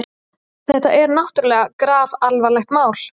Þetta er náttúrlega grafalvarlegt mál.